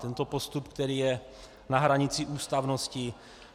Tento postup, který je na hranici ústavnosti.